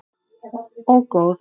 Og góð.